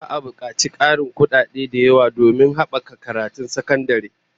Za'a bukaci Karin sadaukar da kudaden da yawa domin habaka karatun sakandare